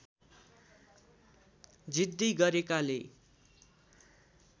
जिद्दी गरेकाले